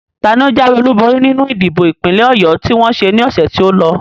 Taani o jáwé olúborí nínú ìdìbò ìpínlẹ̀ Ọ̀yọ tí wọ́n ṣe ní ọ̀sẹ̀ tí o lọ?